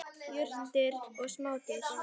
Jurtir og smádýr.